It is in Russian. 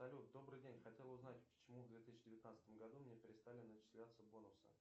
салют добрый день хотел узнать почему в две тысячи девятнадцатом году мне перестали начисляться бонусы